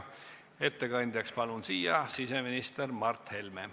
Ettekandjaks palun kõnepulti siseminister Mart Helme.